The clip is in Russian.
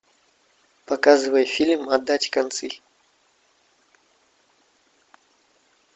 показывай фильм отдать концы